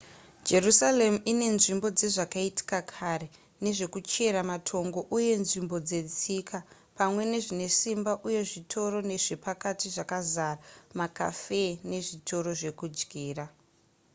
jerusarema inenzvimbo dzezvakaitika kare nezvekuchera matongo uye nenzvimbo dzetsika pamwe nezvinesimba uye zvitoro zvepakati zvakazara macafe nezvitoro zvekudyira